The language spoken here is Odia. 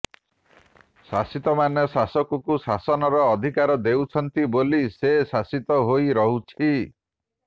ଶାସିତମାନେ ଶାସକକୁ ଶାସନର ଅଧିକାର ଦେଉଛନ୍ତି ବୋଲି ସେ ଶାସିତ ହୋଇରହୁଛି